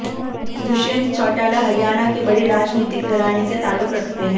दुष्यंत चौटाला हरियाणा के बड़े राजनीतिक घराने से ताल्लुक रखते हैं